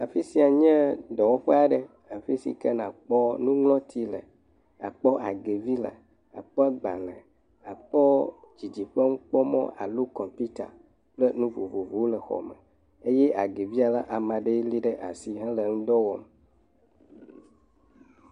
Afi sia nye dɔwɔƒe aɖe, afi si ke nàkpɔ nuŋlɔti le, àkpɔ agevi le, àkpɔ agbalẽ, àkpɔ didiƒe nukpɔmɔ alo kɔmpita kple nu vovovowo le, ye agevia, ame aɖee léɖe asi hele eŋudɔ wɔm.